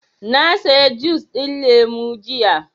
Na saya jus ɗin lemu jiya